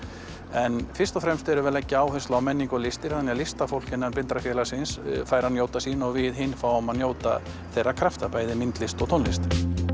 en fyrst og fremst erum við að leggja áherslu á menningu og listir þannig að listafólk innan Blindrafélagsins fær að njóta sín og við hin fáum að njóta þeirra krafta bæði myndlist og tónlist